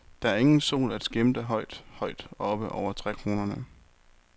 Der er ingen sol at skimte højt, højt oppe over trækronerne.